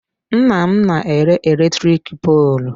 Nnam na-ere eletrik poolụ.